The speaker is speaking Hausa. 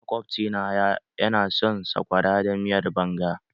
Maƙwabci na ya na son sakwara da miyar banga.